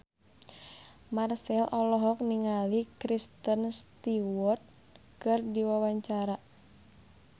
Marchell olohok ningali Kristen Stewart keur diwawancara